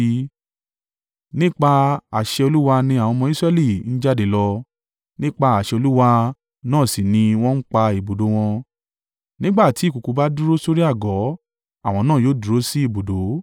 Nípa àṣẹ Olúwa ni àwọn ọmọ Israẹli ń jáde lọ, nípa àṣẹ Olúwa náà sì ni wọ́n ń pa ibùdó wọn. Nígbà tí ìkùùkuu bá dúró sórí àgọ́, àwọn náà yóò dúró sí ibùdó.